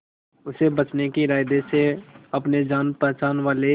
उसे बचने के इरादे से अपने जान पहचान वाले